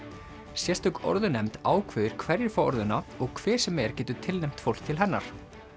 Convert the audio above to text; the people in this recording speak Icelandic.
sérstök ákveður hverjir fá og hver sem er getur tilnefnt fólk til hennar